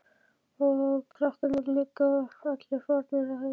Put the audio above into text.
Og krakkarnir líka allir farnir að heiman.